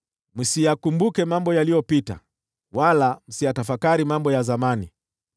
“Msiyakumbuke mambo yaliyopita, wala msiyatafakari mambo ya zamani.